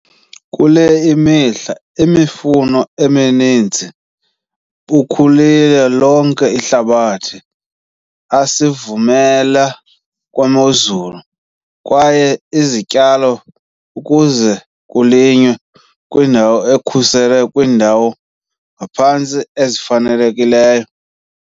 Kule mihla, imifuno uninzi bakhulile lonke ihlabathi asivumela kwemozulu, kwaye izityalo ukuze kulinywa kwiindawo ekhuselweyo kwiindawo ngaphantsi ezifanelekileyo.